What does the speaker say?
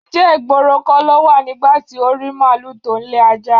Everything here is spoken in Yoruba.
Ǹjé̩ ìgboro kó̩ lo wà nígbà tí o rí málùú tó ń le ajá?